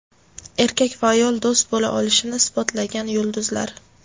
Erkak va ayol do‘st bo‘la olishini isbotlagan yulduzlar.